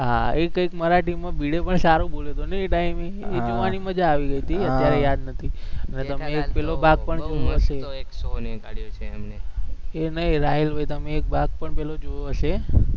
હા એ કંઈક મરાઠીમાં ભીડે પણ સારું બોલે છે નઈ અત્યારે યાદ નથી મસ્ત એક સોનીએ કાઢ્યો છે એમને, એ નઈ રાહુલભાઈ એક ભાગ પણ પેલો જોયો હશે